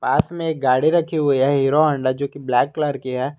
पास मे एक गाड़ी रखी हुए है हीरो होंडा जो कि ब्लैक कलर की है।